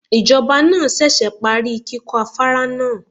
Ìjọba náà ṣẹ̀ṣẹ̀ parí kíkọ́ afárá náà.